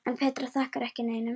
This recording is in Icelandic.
En Petra þakkar ekki neinum.